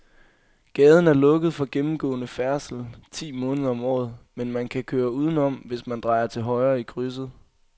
Gaden er lukket for gennemgående færdsel ti måneder om året, men man kan køre udenom, hvis man drejer til højre i krydset.